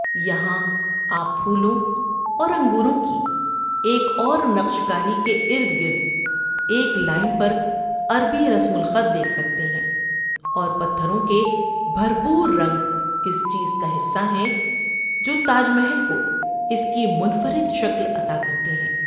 یہاں آپ پھولوں اور انگوروں کی ایک اور نقش کاری کے ارد گرد ایک لائن پر عربی رسم الخط دیکھ سکتے ہیں اور پتھروں کے بھرپور رنگ اس چیز کا حصہ ہیں جو تاج محل کو اس کی منفرد شکل عطا کرتے ہیں۔